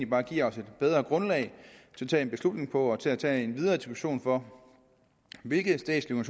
bare giver os et bedre grundlag at tage en beslutning på og til at tage en videre diskussion om hvilke statslige